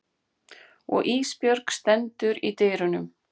Og Ísbjörg stendur í dyrunum.